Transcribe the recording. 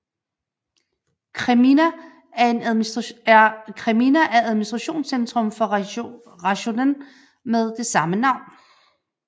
Kreminna er administrationscentrum for Rajonen med det samme navn